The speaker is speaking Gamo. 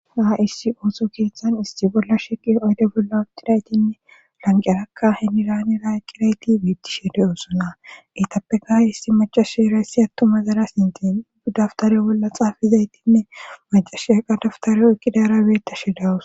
daa issi ooso keeththan isti bolla sheqi oyde bolla otidaytinne lanqerakka heniraanera eqqirayti wiittishede oosona itappe ga hissi macasherayssi attu mazara sintiin du daftare bolla xaafizaytinne macasheaqa daftareoykkidarabeetta shedawus